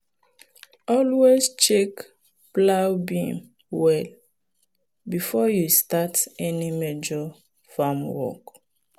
always check plow beam well before you start any major farm work.